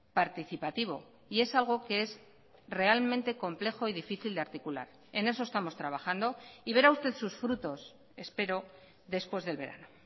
participativo y es algo que es realmente complejo y difícil de articular en eso estamos trabajando y verá usted sus frutos espero después del verano